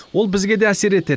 ол бізге де әсер етеді